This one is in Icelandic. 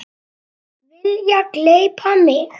Vilja gleypa mig.